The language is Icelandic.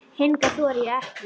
Hingað þori ég ekki inn.